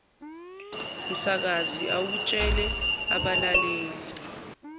msakazi awutshele abalaleli